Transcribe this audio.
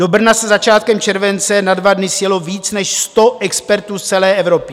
Do Brna se začátkem července na dva dny sjelo víc než sto expertů z celé Evropy.